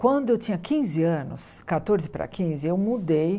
Quando eu tinha quinze anos, catorze para quinze, eu mudei.